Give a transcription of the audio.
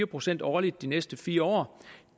procent årligt de næste fire år